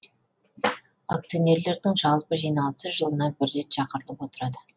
акционерлердің жалпы жиналысы жылына бір рет шақырылып отырады